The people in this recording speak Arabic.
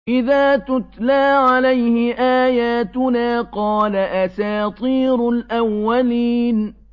إِذَا تُتْلَىٰ عَلَيْهِ آيَاتُنَا قَالَ أَسَاطِيرُ الْأَوَّلِينَ